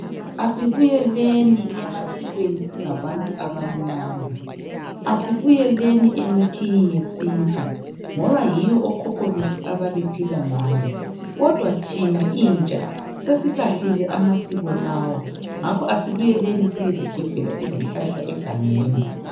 Asibuyeleni emasikweni singabantu abamnyama. Asibuyeleni emithini yesintu ngoba yiyo okhokho bethu ababe phil ngayo kodwa thina intsha sesilahlile amasiko lawa ngakho asibuyeleni siyezigebhela izihlahla egangeni.